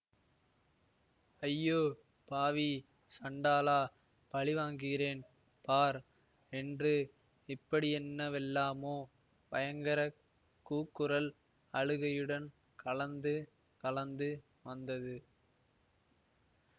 ஐயோ பாவி சண்டாளா பழிவாங்குகிறேன் பார் என்று இப்படியென்னவெல்லாமோ பயங்கர கூக்குரல் அழுகையுடன் கலந்து கலந்து வந்தது